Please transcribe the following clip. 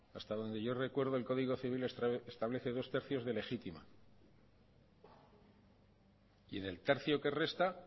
hasta donde yo recuerdo el código civil establece dos tercios de legítima y en el tercio que resta